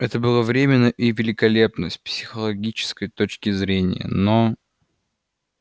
это было временно и великолепно с психологической точки зрения но